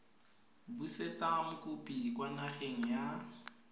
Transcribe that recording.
busetsa mokopi kwa nageng ya